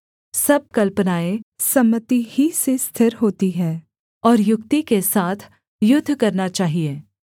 सब कल्पनाएँ सम्मति ही से स्थिर होती हैं और युक्ति के साथ युद्ध करना चाहिये